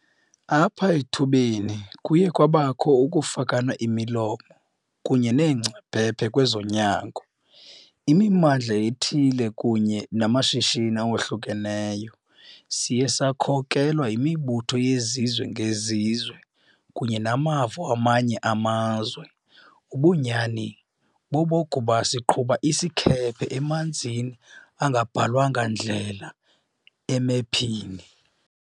Apha ethubeni kuye kwabakho ukufakana imilomo kunye neengcaphephe kwezonyango, imimmandla ethile kunye namashishini awohlukeneyo. Siye sakhokelwa yimibutho yezizwe ngezizwe kunye namava wamanye amazwe. Ubunyani bobokuba siqhuba isikhephe emanzini angabhalwanga ndlela emephini.